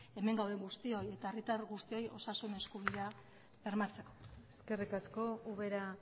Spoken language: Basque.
hemen gauden guztioi eta herritar guztioi osasun eskubidea bermatzeko eskerrik asko ubera